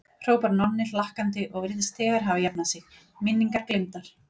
hrópar Nonni hlakkandi og virðist þegar hafa jafnað sig, minningar gleymdar.